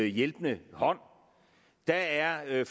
hjælpende hånd der er